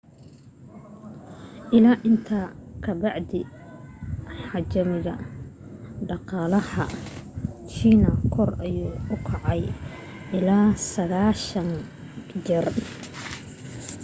ilaa intaas ka bacdi xajmiga dhaqalaha china kor ayuu kacay ilaa 90 jeer